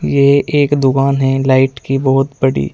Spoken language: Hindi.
ये एक दुकान है लाइट की बहोत बड़ी।